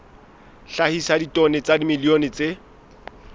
hlahisa ditone tsa dimilione tse